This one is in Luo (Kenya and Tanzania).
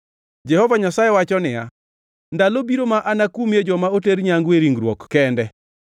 Jehova Nyasaye wacho niya, “Ndalo biro ma anakumie joma oter nyangu e ringruok kende